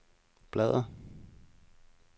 bladr